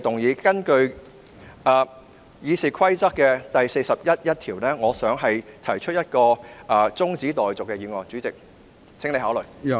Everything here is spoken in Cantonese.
我根據《議事規則》第401條動議辯論中止待續議案，請主席考慮。